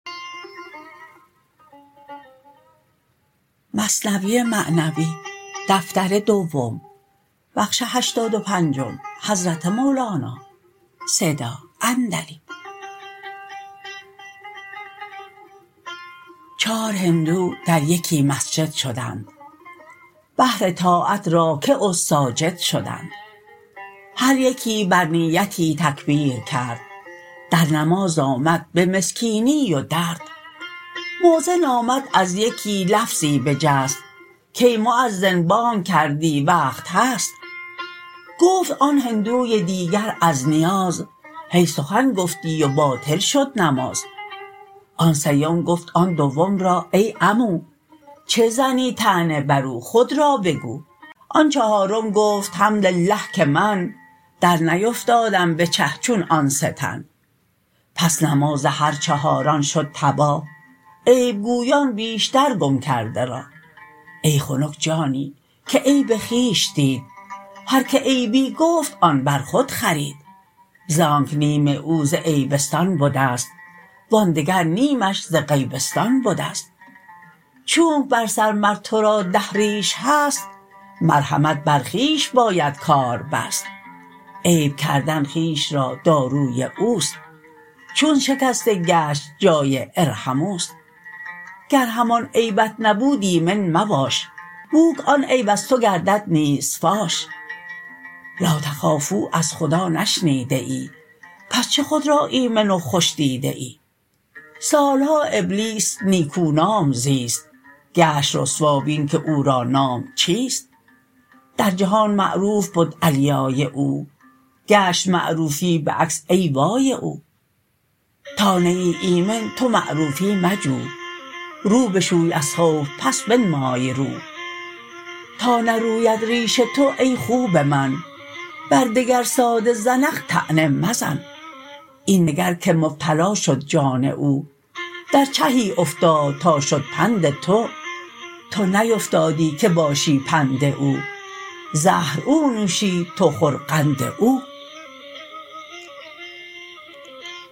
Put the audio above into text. چار هندو در یکی مسجد شدند بهر طاعت راکع و ساجد شدند هر یکی بر نیتی تکبیر کرد در نماز آمد به مسکینی و درد مؤذن آمد از یکی لفظی بجست کای مؤذن بانگ کردی وقت هست گفت آن هندوی دیگر از نیاز هی سخن گفتی و باطل شد نماز آن سیم گفت آن دوم را ای عمو چه زنی طعنه برو خود را بگو آن چهارم گفت حمد الله که من در نیفتادم به چه چون آن سه تن پس نماز هر چهاران شد تباه عیب گویان بیشتر گم کرده راه ای خنک جانی که عیب خویش دید هر که عیبی گفت آن بر خود خرید زانک نیم او ز عیبستان بدست وآن دگر نیمش ز غیبستان بدست چونک بر سر مر تو را ده ریش هست مرهمت بر خویش باید کار بست عیب کردن خویش را داروی اوست چون شکسته گشت جای ارحمواست گر همان عیبت نبود ایمن مباش بوک آن عیب از تو گردد نیز فاش لا تخافوا از خدا نشنیده ای پس چه خود را ایمن و خوش دیده ای سالها ابلیس نیکونام زیست گشت رسوا بین که او را نام چیست در جهان معروف بد علیای او گشت معروفی بعکس ای وای او تا نه ای ایمن تو معروفی مجو رو بشوی از خوف پس بنمای رو تا نروید ریش تو ای خوب من بر دگر ساده زنخ طعنه مزن این نگر که مبتلا شد جان او در چهی افتاد تا شد پند تو تو نیفتادی که باشی پند او زهر او نوشید تو خور قند او